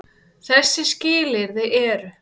Þessi skilyrði eru: